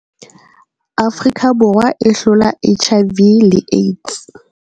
Afrika Borwa e hlola HIV le AIDS.